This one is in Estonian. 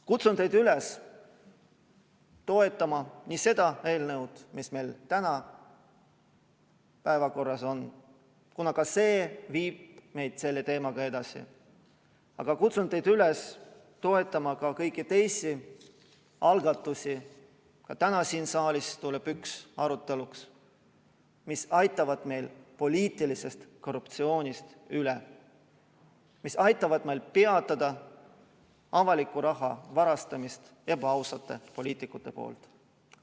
Kutsun teid üles toetama nii seda eelnõu, mis meil täna päevakorras on, kuna ka see viib meid selle teemaga edasi, aga kutsun teid üles toetama ka kõiki teisi algatusi – ka täna siin saalis tuleb üks arutelule –, mis aitavad meid poliitilisest korruptsioonist üle, mis aitavad meil peatada avaliku raha varastamise ebaausate poliitikute poolt.